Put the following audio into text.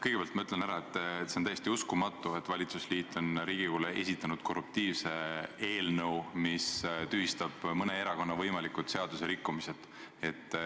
Kõigepealt ma ütlen ära, et see on täiesti uskumatu, et valitsusliit on Riigikogule esitanud korruptiivse eelnõu, mis tühistab mõne erakonna võimalikud seaduserikkumised.